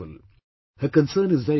Her concern is very genuine